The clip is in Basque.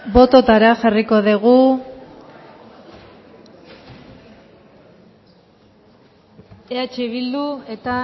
bototara jarriko dugu eh bildu eta